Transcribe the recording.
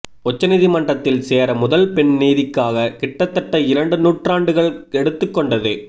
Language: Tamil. உச்சநீதிமன்றத்தில் சேர முதல் பெண் நீதிக்காக கிட்டத்தட்ட இரண்டு நூற்றாண்டுகள் எடுத்துக் கொண்டது